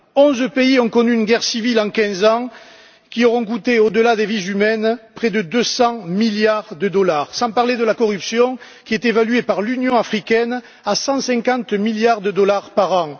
Onze pays ont connu des guerres civiles en quinze ans, qui auront coûté, au delà des vies humaines, près de deux cents milliards de dollars, sans parler de la corruption qui est évaluée par l'Union africaine à cent cinquante milliards de dollars par an.